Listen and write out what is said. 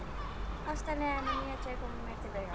Ástarenglarnir mínir tveir koma mér til bjargar.